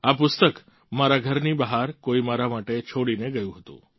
આ પુસ્તક મારા ઘરની બહાર કોઈ મારા માટે છોડીને ગયું હતું